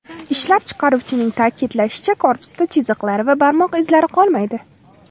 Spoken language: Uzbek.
Ishlab chiqaruvchining ta’kidlashicha, korpusda chiziqlar va barmoq izlari qolmaydi.